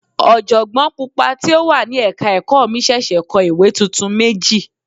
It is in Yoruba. Ọ̀jọ̀gbọ́n Pupa tí ó wà ní ẹ̀ka ẹ̀kọ́ mi ṣẹ̀ṣẹ̀ kọ ìwé tuntun méjì.